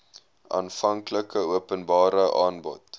aanvanklike openbare aanbod